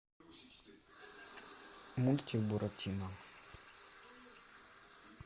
мультик буратино